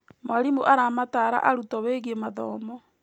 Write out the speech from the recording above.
Mwarimũ aramatara arutwo wĩgiĩ mathomo.